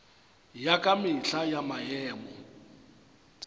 ya ka mehla ya maemo